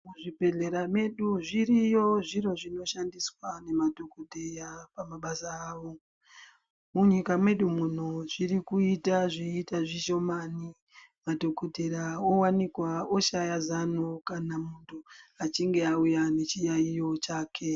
Muzvibhedhlera medu zviriyo zviro zvinoshandiswa nemadhokodheya pabasa rawo. Munyika mwedu muno zvirikuita zveiita zvishomani, madhokodheya owanikwa oshaya zano kana muntu achinge auya nechiyaiyo chake.